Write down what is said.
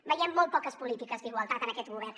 veiem molt poques polítiques d’igualtat en aquest govern